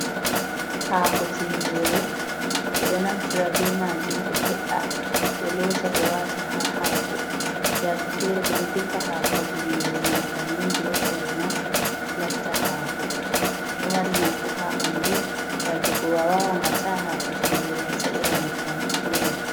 "Hako tingere" ɓeɗo ɗo naftira be majum ɓe he’a ɓe lota ɓe wata ha hako yake fere ɓeɗo defa hako tingere man bannin be hore man latta hako ɗo marina fu ha ɓandu yake go wawan a ta'a hako tingere a sa'ira nyebbam fu be man.